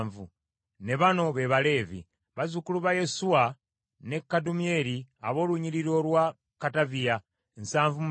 Ne bano be Baleevi: bazzukulu ba Yesuwa ne Kadumyeri ab’olunnyiriri olwa Kadaviya nsavu mu bana (74).